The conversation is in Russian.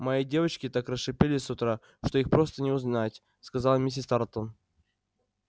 мои девочки так расшалились с утра что их просто не узнать сказала миссис тарлтон